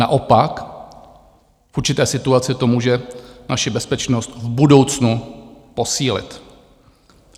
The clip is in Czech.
Naopak, v určité situaci to může naši bezpečnost v budoucnu posílit.